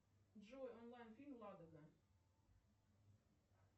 джой онлайн фильм ладога